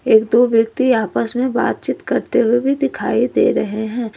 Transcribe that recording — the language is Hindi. एक दो व्यक्ति आपस में बातचीत करते हुए भी दिखाई दे रहे हैं।